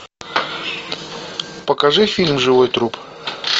покажи фильм живой труп